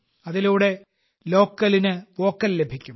അതിലൂടെ ലോക്കലിനു വോക്കൽ ലഭിക്കും